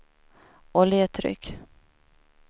oljetryck